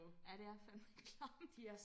Ja det er fandme klamt